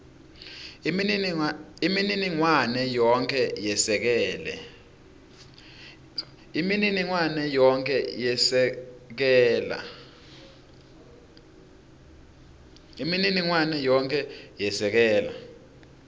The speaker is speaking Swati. imininingwane yonkhe yesekela